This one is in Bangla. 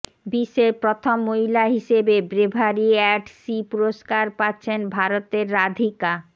বিশ্বের প্রথম মহিলা হিসেবে ব্রেভারি অ্যাট সি পুরস্কার পাচ্ছেন ভারতের রাধিকা